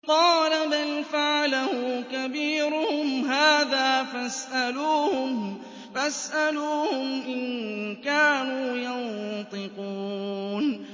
قَالَ بَلْ فَعَلَهُ كَبِيرُهُمْ هَٰذَا فَاسْأَلُوهُمْ إِن كَانُوا يَنطِقُونَ